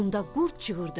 Onda qurd cığırdı.